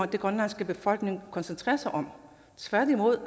den grønlandske befolkning koncentrerer sig om tværtimod